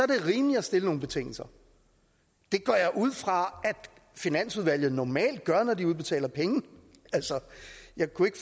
det rimeligt at stille nogle betingelser det går jeg ud fra finansudvalget normalt gør når de udbetaler penge jeg kunne ikke